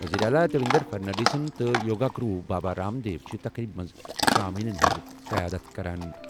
وزیر اعلیٰ دیویندر فڈنویسنس تہٕ یوگا گرو بابا رام دیو چھِ تقریبہِ منٛز سامعیٖنَن ہٕنٛز قیادت کران۔